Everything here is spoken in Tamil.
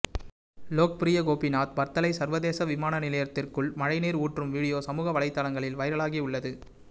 லோக்பிரிய கோபிநாத் பர்தலை சர்வதேச விமான நிலையத்திற்குள் மழை நீர் ஊற்றும் வீடியோ சமூக வலைத்தளத்தில் வைரலாகி உள்ளது